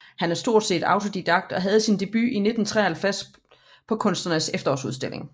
Han er stort set autodidakt og havde sin debut i 1953 på Kunstnernes Efterårsudstilling